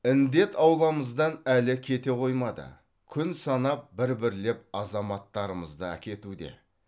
індет ауламыздан әлі кете қоймады күн санап бір бірлеп азаматтарымызды әкетуде